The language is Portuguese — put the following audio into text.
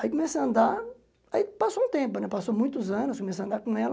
Aí comecei a andar, daí passou um tempo, né muitos anos, comecei a andar com ela.